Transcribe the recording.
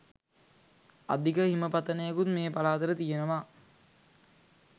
අධික හිම පතනයකුත් මේ පළාතට තියෙනවා.